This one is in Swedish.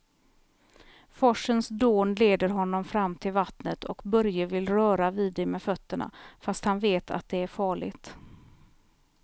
Forsens dån leder honom fram till vattnet och Börje vill röra vid det med fötterna, fast han vet att det är farligt.